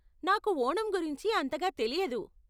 నాకు ఓణం గురించి అంతగా తెలియదు.